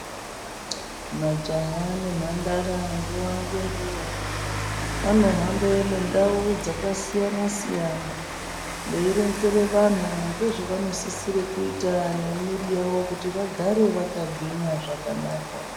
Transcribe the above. Majaha nemhandara nguwa ngenguwa vanohamba mundau dzakasiyana-siyana. Veironzere vanhu nezvavanosisire kuita nemwiri yavo kuti vagare vakagwinya zvakanaka.